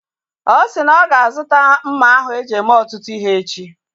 Ọ si na ọ ga-azuta mma ahụ eji eme ọtụtụ ihe echi